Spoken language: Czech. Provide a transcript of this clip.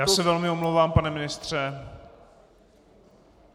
Já se velmi omlouvám, pane ministře.